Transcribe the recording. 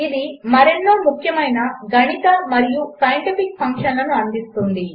ఇదిమరెన్నోముఖ్యమైనగణితమరియుసైంటిఫిక్ఫంక్షన్లనుఅందిస్తుంది